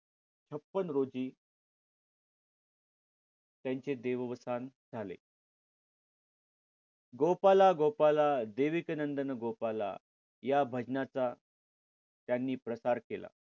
छपन्न रोजी त्यांचे देवस्थान झाले. गोपाला गोपाला देवकीनंदन गोपाला या भजनाचा त्यांनी प्रसार केला.